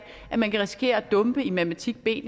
at man kan risikere at dumpe i matematik b